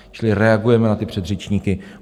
Čili reagujeme na ty předřečníky.